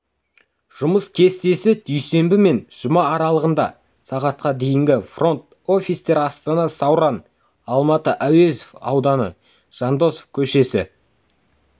жұмыс кестесі дүйсенбі мен жұма аралығында сағатқа дейінгі фронт-офистер астана сауран алматы әуезов ауданы жандосов көшесі